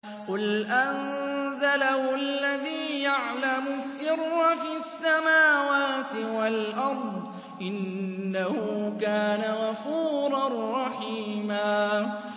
قُلْ أَنزَلَهُ الَّذِي يَعْلَمُ السِّرَّ فِي السَّمَاوَاتِ وَالْأَرْضِ ۚ إِنَّهُ كَانَ غَفُورًا رَّحِيمًا